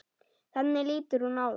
Þannig lítur hún á það.